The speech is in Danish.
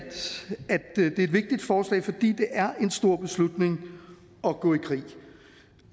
det er et vigtigt forslag fordi det er en stor beslutning at gå i krig